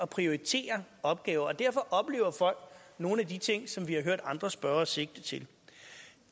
prioritere opgaver og derfor oplever folk nogle af de ting som vi har hørt andre spørgere sigte til